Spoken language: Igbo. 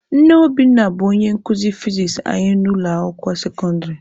Nne Obinna bụ onye nkuzi fizis anyị n'ụlọ akwụkwọ sekọndịrị.